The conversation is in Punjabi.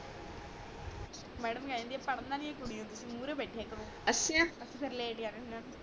ਮੈਡਮ ਕਹਿ ਦਿੰਦੀ ਆ ਪੜਨਾ ਨੀ ਹੈ ਕੁੜੀਓ ਮੂਰੇ ਬੈਠੇ ਕਰੋ ਅੱਛਾ